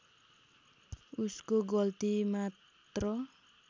उसको गल्ती मात्र